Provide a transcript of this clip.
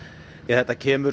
þetta kemur